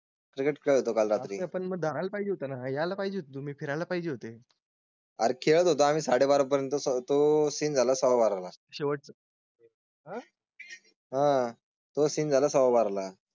Cricket करतो काल रात्री. आपण बघायला पाहिजे होता ना यायला पाहिजे. तुम्ही फिरायला पाहिजे होते. आर खेळत होता. साडेबारा पर्यंतच तो सीन झाला सावाबाराला. शेवट.